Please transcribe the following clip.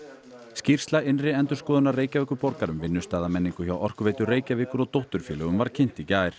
skýrsla innri endurskoðunar Reykjavíkurborgar um vinnustaðarmenningu hjá Orkuveitu Reykjavíkur og dótturfélögum var kynnt í gær